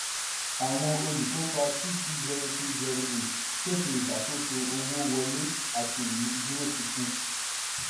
àwọn olùkópa two two zero six zero eight pèsè ìṣàkóso owó wọlé àti ìmúdúróṣinṣin.